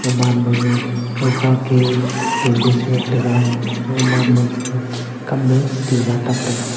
oman maga kawkhake tende chingan taiga gaman magaga kamma tinna tub taiga.